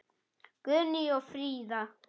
Guðný og Fríða.